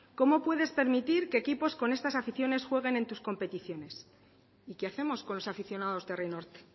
cómo puedes permitir que equipos con estas aficiones jueguen en tus competiciones y qué hacemos con los aficionados de herri norte